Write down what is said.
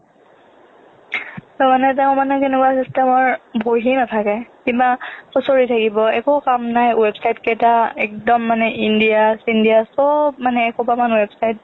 তাৰমানে তেওঁ মানে কেনেকুৱা system ৰ বহি নাথাকে কিবা খুচৰি থাকিব একো কাম নাই website কেইটা একদম মানে india চিণ্ডিয়া সব মানে এসোপামান website